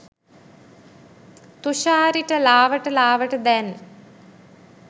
තුෂාරිට ලාවට ලාවට දැන්